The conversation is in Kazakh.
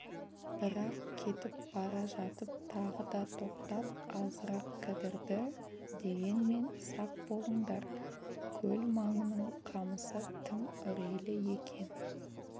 бірақ кетіп бара жатып тағы да тоқтап азырақ кідірді дегенмен сақ болыңдар көл маңының қамысы тым үрейлі екен